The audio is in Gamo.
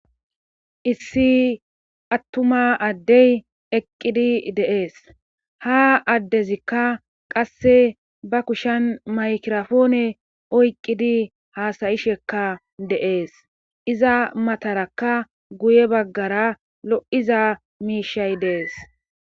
Issi attuma addey eqqidi deees ha addezikka qasse ba kushen maykirofoone oyqqidi haasayishekka deees iza matarakka guye baggara lo7iza miishay dees